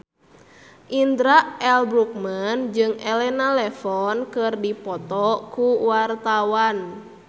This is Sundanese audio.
Indra L. Bruggman jeung Elena Levon keur dipoto ku wartawan